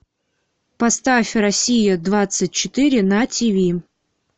поставь россия двадцать четыре на тв